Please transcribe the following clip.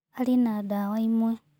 Arĩ na ndawa ĩmwe.